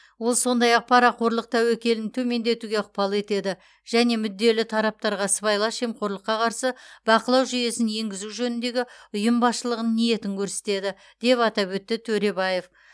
ол сондай ақ парақорлық тәуекелін төмендетуге ықпал етеді және мүдделі тараптарға сыбайлас жемқорлыққа қарсы бақылау жүйесін енгізу жөніндегі ұйым басшылығының ниетін көрсетеді деп атап өтті төребаев